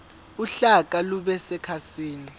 uhlaka lube sekhasini